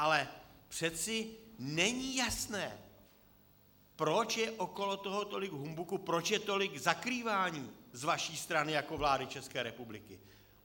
Ale přece není jasné, proč je okolo toho tolik humbuku, proč je tolik zakrývání z vaší strany jako vlády České republiky.